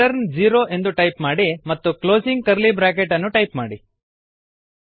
return zero ಎಂದು type ಮಾಡಿ ಮತ್ತು ಕ್ಲೋಸಿಂಗ್ ಕರ್ಲಿ ಬ್ರಾಕೆಟ್ ಅನ್ನು ಟೈಪ್ ಮಾಡಿ